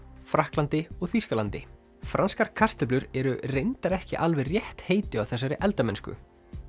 Frakklandi og Þýskalandi franskar kartöflur eru reyndar ekki alveg rétt heiti á þessari eldamennsku